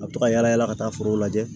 A bɛ taga yala yala ka taa foro lajɛ